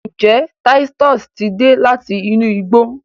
njé Titus tí dé láti inú igbó?